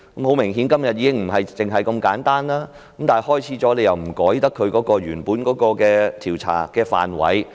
很明顯，今天的情況已並非如此簡單，但調查開始了又不能更改原本的調查範圍。